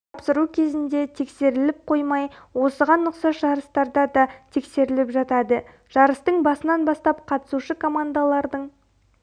тапсыру кезінде тексеріліп қоймай осыған ұқсас жарыстарда да тексеріліп жатады жарыстың басынан бастап қатысушы командалардың